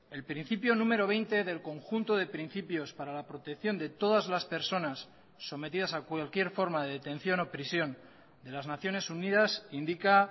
el principio número veinte del conjunto de principios para la protección de todas las personas sometidas a cualquier forma de detención o prisión de las naciones unidas indica